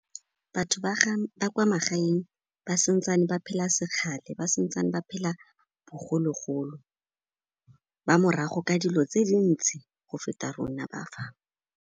Batho ba kwa magaeng ba santsane ba phela se kgale, ba santsane ba phela bogologolo, ba morago ka dilo tse dintsi go feta rona ba fa.